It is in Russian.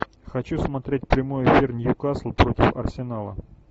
хочу смотреть прямой эфир ньюкасл против арсенала